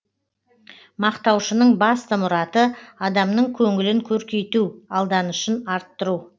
мақтаушының басты мұраты адамның көңілін көркейту алданышын арттыру